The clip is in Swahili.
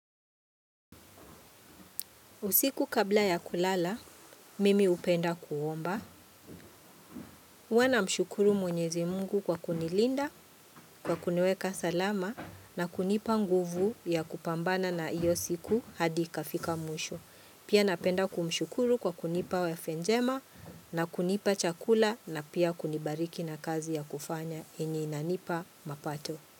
Usiku kabla ya kulala, mimi hupenda kuomba. Huwa namshukuru Mwenyezi Mungu kwa kunilinda, kwa kuniweka salama na kunipa nguvu ya kupambana na hiyo siku hadi ikafika mwisho. Pia napenda kumshukuru kwa kunipa afya njema, na kunipa chakula na pia kunibariki na kazi ya kufanya ambayo inanipa mapato.